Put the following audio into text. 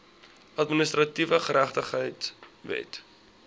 administratiewe geregtigheid wet